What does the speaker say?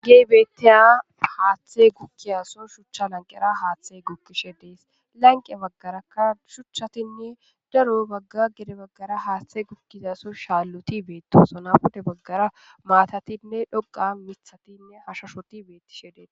Hageey beetteya haaththe gukkiyaso shuchcha lanqera haaththey gukishe dees. lanqe baggarakka shuchchatinne daro bagga gede baggara haaththe gukkizaso shaalloti beettosona .pude baggara maatatinne dhoqa mithatinne hashashoti bettishe dees.